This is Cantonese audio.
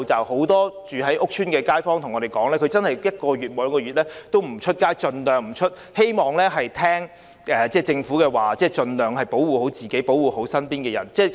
很多住在屋邨的街坊對我們說，他們真的一兩個月盡量不外出，聽從政府指示，保護自己及身邊的人。